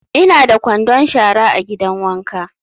Ina da kwandon shara a gidan wanka.